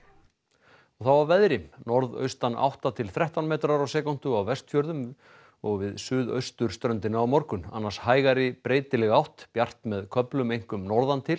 og veðri norðaustan átta til þrettán metrar á sekúndu á Vestfjörðum og við suðausturströndina á morgun annars hægari breytileg átt bjart með köflum einkum norðan til